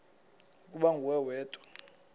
ukuba nguwe wedwa